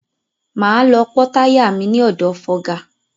Máa lọ pọ́ táyà mi ní ọ̀dọ̀ fọga.